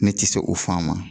Ne tɛ se o fan ma